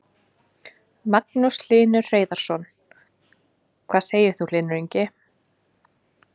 Magnús Hlynur Hreiðarsson: Hvað segir þú Sigurður Ingi?